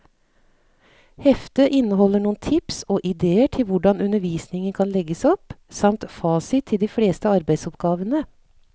Heftet inneholder noen tips og idéer til hvordan undervisningen kan legges opp, samt fasit til de fleste arbeidsoppgavene.